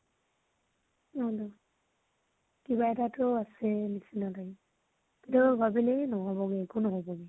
কিবা এটাতো আছে নিছিনা লাগে। কেতিয়াবা ভাবিলে নহব্গে একো নহব্গে